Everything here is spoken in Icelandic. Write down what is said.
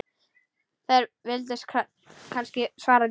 Þér vilduð kannski svara því.